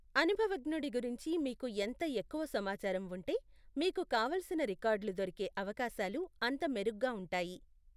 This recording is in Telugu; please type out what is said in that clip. అనుభవజ్ఞుడి గురించి మీకు ఎంత ఎక్కువ సమాచారం ఉంటే, మీకు కావలసిన రికార్డ్లు దొరికే అవకాశాలు అంత మెరుగ్గా ఉంటాయి.